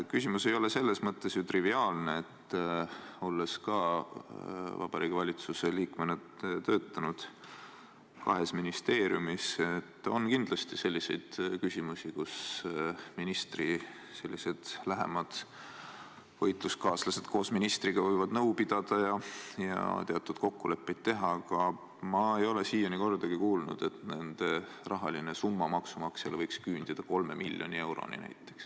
Küsimus ei ole ju selles mõttes triviaalne, et – olles ka ise kahes ministeeriumis Vabariigi Valitsuse liikmena töötanud – kindlasti on selliseid küsimusi, kus ministri lähemad võitluskaaslased võivad ministriga nõu pidada ja teatud kokkuleppeid teha, aga ma ei ole siiani kordagi kuulnud, et nende rahaline summa võiks maksumaksja jaoks küündida kolme miljoni euroni.